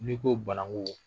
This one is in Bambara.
N'i ko banangu